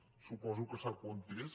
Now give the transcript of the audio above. suposo que sap on és